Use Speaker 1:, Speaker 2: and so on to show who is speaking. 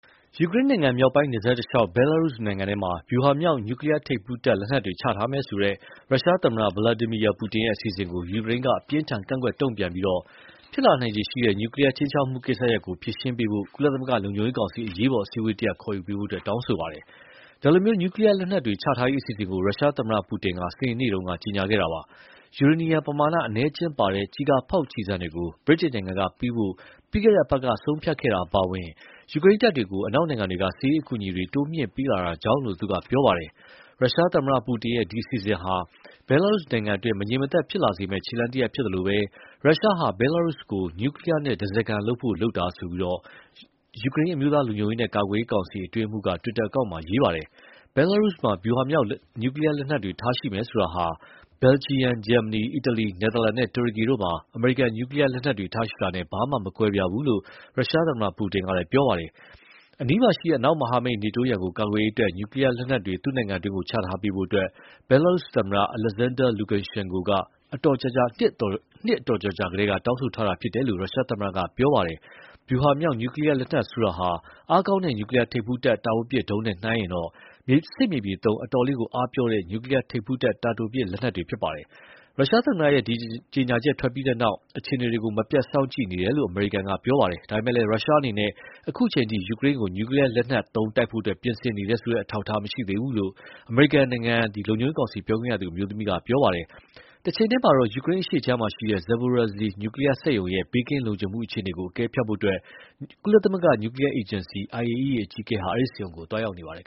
Speaker 1: ယူကရိန်းနိုင်ငံမြောက်ပိုင်းနယ်စပ်တလျှောက် ဘဲလားရုစ်နိုင်ငံထဲမှာ ဗျူဟာမြောက်နျူကလီယားထိပ်ဖူးတပ် လက်နက်တွေချထားမယ်ဆိုတဲ့ ရုရှားသမ္မတ Vladimir Putin ရဲ့အစီအစဉ်ကို ယူကရိန်းက အပြင်းအထန်ကန့်ကွက် တုံ့ပြန်ပြီး ဖြစ်လာနိုင်ခြေရှိတဲ့ နျူကလီယားခြိမ်းခြောက်မှုကိစ္စရပ် ဖြေရှင်းရေး ကုလလုံခြုံရေးကောင်စီ အရေးပေါ်အစည်းအဝေးတရပ်ခေါ်ယူဖို တောင်းဆိုပါတယ်။ ဒီလို နျူကလီယားလက်နက်တွေ ချထားရေးအစီအစဉ်ကို ရုရှားသမ္မတပူတင်က စနေနေ့က ကြေညာခဲ့တာပါ။ ယူရေနီယံပမာဏအနည်းအကျဉ်းပါတဲ့ ကျည်ကာဖောက်ကျည်ဆံတွေကို ဗြိတိန်နိုင်ငံကပေးဖို့ ပြီးခဲ့တဲ့အပတ်က ဆုံးဖြတ်ခဲ့တာအပါအဝင် ယူကရိန်းတပ်တွေကို အနောက်နိုင်ငံတွေက စစ်ရေးအကူအညီတွေ တိုးမြှင့်ပေးလာတာကြောင့်လို့ သူက ပြောပါတယ်။ ရုရှားသမ္မတပူတင်ရဲ့ ဒီအစီအစဉ် ဟာ ဘဲလာရုစ်နိုင်ငံတွင်း မငြိမ်မသက်ဖြစ်လာစေမယ့် ခြေလှမ်းတရပ်ဖြစ်သလို ရုရှားဟာ ဘဲလားရုစ်ကို နျူကလီယားနဲ့ ဓါးစားခံပြုဖို့လုပ်တာလို့ ယူကရိန်းအမျိုးသားလုံခြုံရေးနဲ့ ကာကွယ်ရေးကောင်စီ အတွင်းရေးမှူးက တွစ်တာအကောင့်မှာ ရေးပါတယ်။ ဘဲလားရုစ်မှာ ဗျူဟာမြောက် နျူကလီယားလက်နက်တွေ ထားရှိမယ်ဆိုတာဟာ ဘယ်လ်ဂျီယံ၊ ဂျာမနီ၊ အီတလီ၊ နယ်သာလန်နဲ့ တူရကီတို့မှာ အမေရိကန် နျူကလီယားလက်နက်တွေထားရှိတာနဲ့ ဘာမှမကွဲပြားဘူးလို့ ရုရှားသမ္မတပူတင်က ပြောပါတယ်။ အနီးမှာရှိတဲ့ အနောက်မဟာမိတ် နေတိုးရန်ကို ကာကွယ်ရေးအတွက် နျူကလီယားလက်နက်တွေ သူ့နိုင်ငံတွင်းချထားပေးဖို့ ဘဲလားရုစ်သမ္မတ Alexaner Luksshenko က အတော်ကြာကြာကတည်းက တောင်းဆိုထားတာလို့လည်း ရုရှားသမ္မတက ပြောပါတယ်။ ဗျူဟာမြောက် နျူကလီယားလက်နက်ဆိုတာဟာ အားကောင်းတဲ့ နျူကလီယားထိပ်ဖူးတပ် တာဝေးပစ်ဒုံးနဲ့နှိုင်းယှဉ်ရင်တော့ စစ်မြေပြင်သုံး အတော်လေးအားပျော့တဲ့ နျူကလီယားထိပ်ဖူးတပ် တာတိုပစ်လက်နက်တွေပါ။ ရုရှားသမ္မတရဲ့ ဒီကြေညာချက်ထွက်ပြီးနောက် အခြေအနေတွေကို မပြတ်စောင့်ကြည့်နေတယ်လို့ အမေရိကန်က ပြောပါတယ်။ ဒါပေမယ့်လည်း ရုရှားအနေနဲ့ အခုအချိန်ထိ ယူကရိန်းကို နျူကလီယားလက်နက်သုံးတိုက်ဖို့ ပြင်ဆင်နေတယ်ဆိုတဲ့ အထောက်အထား မရှိသေးဘူးလို့တော့ အမေရိကန်နိုင်ငံ လုံခြုံရေးကောင်စီပြောခွင့်ရအမျိုးသမီးက ပြောပါတယ်။ တချိန်တည်းမှာတော့ ယူကရိန်းအရှေ့ခြမ်းက Zaporizhzhia နျူကလီယားစက်ရုံရဲ့ ဘေးကင်းလုံခြုံမှုအခြေအနေကို အကဲဖြတ်ဖို့ ကုလ နျူကလီယားအေဂျင်စီ IAEA အကြီးအကဲဟာ အဲဒီ စက်ရုံဆီကို သွားရောက်နေပါတယ်